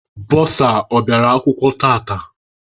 Bọsa ọ bịara akwụkwọ tata?